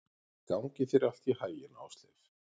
Gangi þér allt í haginn, Ásleif.